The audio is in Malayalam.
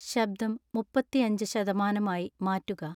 ശബ്ദം മുപ്പത്തിയഞ്ച് ശതമാനമായി മാറ്റുക